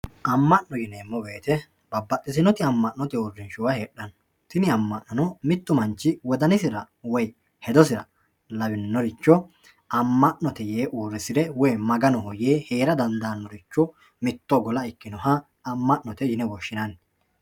Ama'no yineemmo woyte babbaxitinoti uurrinshuwa heedhano tinni ama'nono mitu manchi wodansira woyi hedosira lawinoricho ama'note yee uurrisire woyi Maganoho yee heera dandanoricho mitto gola ikkinoha ama'note yinne woshshinanni.